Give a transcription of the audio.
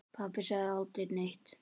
Pabbi sagði aldrei neitt.